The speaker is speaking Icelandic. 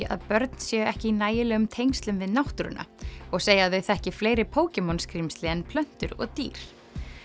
að börn séu ekki í nægilegum tengslum við náttúruna og segja að þau þekki fleiri skrímsli en plöntur og dýr